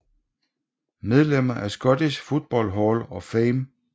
Medlemmer af Scottish Football Hall of Fame